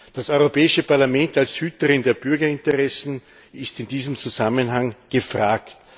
Das Europäische Parlament als Hüterin der Bürgerinteressen ist in diesem Zusammenhang gefragt.